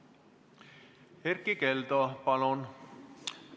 Erkki Keldo, palun!